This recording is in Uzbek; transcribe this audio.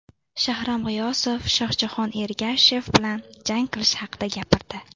Shahram G‘iyosov Shohjahon Ergashev bilan jang qilishi haqida gapirdi .